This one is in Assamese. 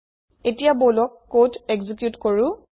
এতিয়া বলক কোড একজিউট কৰো